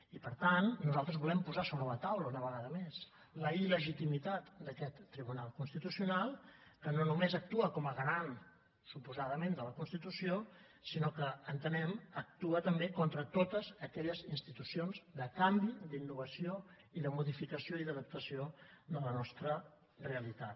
i per tant nosaltres volem posar sobre la taula una vegada més la il·legitimitat d’a quest tribunal constitucional que no només actua com a garant suposadament de la constitució sinó que entenem que actua també contra totes aquelles institucions de canvi d’innovació i de modificació i d’adaptació de la nostra realitat